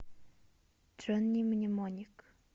джонни мнемоник